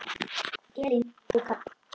Elín og Karl.